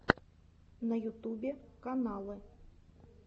на ютубе каналы